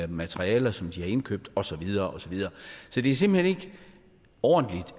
materialer som de har indkøbt og så videre og så videre så det er simpelt hen ikke ordentligt